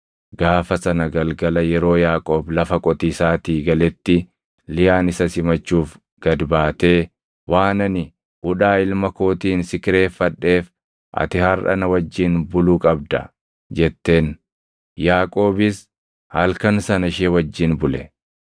Gaafa sana galgala yeroo Yaaqoob lafa qotiisaatii galetti Liyaan isa simachuuf gad baatee, “Waan ani hudhaa ilma kootiin si kireeffadheef ati harʼa na wajjin bulu qabda” jetteen. Yaaqoobis halkan sana ishee wajjin bule.